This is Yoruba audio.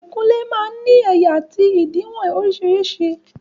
Ìkunlé máa ń ní ẹ̀yà àti òdiwọ̀n orísìírísìí.